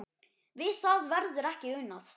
Við það verður ekki unað